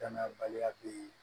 Danaya baliya be yen